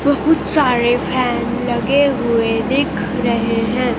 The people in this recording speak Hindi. बहुत सारे फेन लगे हुए दिख रहे हैं।